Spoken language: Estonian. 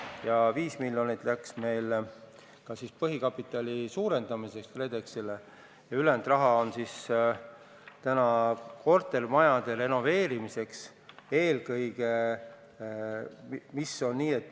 Ja 5 miljonit läks meil ka põhikapitali suurendamiseks KredExile ja ülejäänud raha on siis täna kortermajade renoveerimiseks.